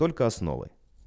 только основой